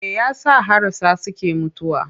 Me ya sa harasa suke mutuwa?